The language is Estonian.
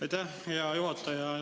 Aitäh, hea juhataja!